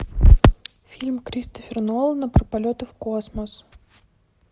фильм кристофера нолана про полеты в космос